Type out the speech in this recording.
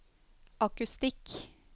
akustikk